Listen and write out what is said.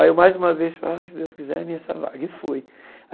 Aí eu mais uma vez falei, ai se Deus quiser, é minha essa vaga e fui.